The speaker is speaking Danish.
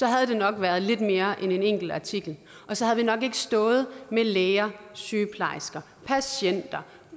havde det nok været lidt mere end en enkelt artikel og så havde vi nok ikke stået med læger sygeplejersker patienter